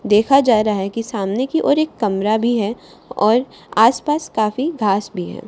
देखा जा रहा है कि सामने की और एक कमरा भी है और आस पास काफी घास भी है।